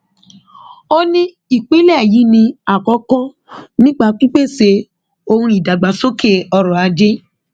ó ní ìpínlẹ yìí ní àkókò nípa pípèsè ohun ìdàgbàsókè ọrọ ajé